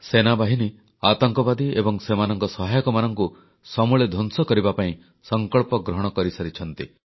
ସେନାବାହିନୀ ଆତଙ୍କବାଦୀ ଏବଂ ସେମାନଙ୍କ ସହାୟକମାନଙ୍କୁ ସମୂଳେ ଧ୍ୱଂସ କରିବା ପାଇଁ ସଂକଳ୍ପ ଗ୍ରହଣ କରିସାରିଛନ୍ତି